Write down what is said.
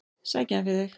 Sæki hann fyrir þig.